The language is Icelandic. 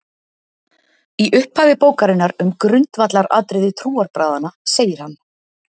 Í upphafi bókarinnar um grundvallaratriði trúarbragðanna segir hann: